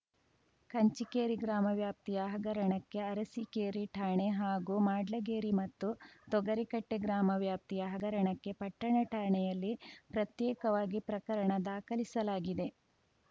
ಕಂಚಿಕೇರಿ ಗ್ರಾಮ ವ್ಯಾಪ್ತಿಯ ಹಗರಣಕ್ಕೆ ಅರಸಿಕೇರಿ ಠಾಣೆ ಹಾಗೂ ಮಾಡ್ಲಗೇರಿ ಮತ್ತು ತೊಗರಿಕಟ್ಟೆಗ್ರಾಮ ವ್ಯಾಪ್ತಿಯ ಹಗರಣಕ್ಕೆ ಪಟ್ಟಣ ಠಾಣೆಯಲ್ಲಿ ಪ್ರತ್ಯೇಕವಾಗಿ ಪ್ರಕರಣ ದಾಖಲಿಸಲಾಗಿದೆ